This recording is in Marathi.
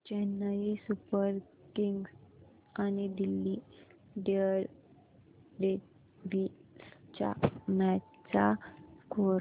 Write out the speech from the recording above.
चेन्नई सुपर किंग्स आणि दिल्ली डेअरडेव्हील्स च्या मॅच चा स्कोअर